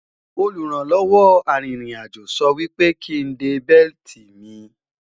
olùrànlọ́wọ́ àrin rìn àjọ sò wípé kín dé belti mí